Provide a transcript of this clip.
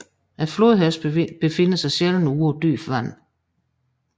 Flodhesten befinder sig sjældent på dybt vand